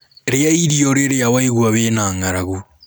rĩa irio rirĩa waigua wĩna ng'aragu